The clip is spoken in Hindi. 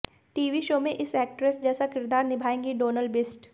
टीवी शो में इस एक्ट्रेस जैसा किरदार निभाएंगी डोनल बिष्ट